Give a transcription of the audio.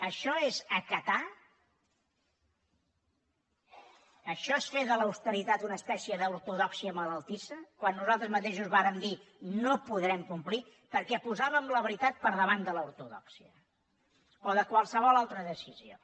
això és acatar això és fer de l’austeritat una espècie d’ortodòxia malaltissa quan nosaltres mateixos vàrem dir no ho podrem complir perquè posàvem la veritat per davant de l’ortodòxia o de qualsevol altra decisió